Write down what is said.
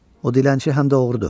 O dilənçi həm də oğrudur.